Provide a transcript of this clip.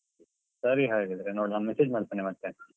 ಸರಿ ಹಾಗಾದ್ರೆ ನೋಡೋಣ ನಾನ್ message ಮಾಡ್ತೇನೆ ಮತ್ತೆ.